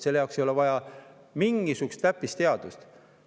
Selle jaoks ei ole vaja mingisugust täppisteadust.